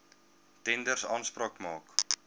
tenders aanspraak maak